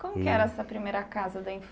Como E que era essa primeira casa da